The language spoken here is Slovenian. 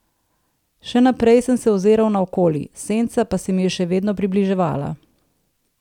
Še naprej sem se oziral naokoli, senca pa se mi je še vedno približevala.